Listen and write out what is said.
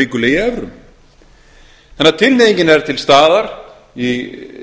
ríkulega í evrum þannig að tilhneigingin er til staðar í